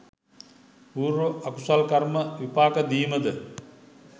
පූර්ව අකුසල් කර්ම විපාක දීමද